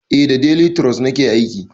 Eh da delituros nake aiki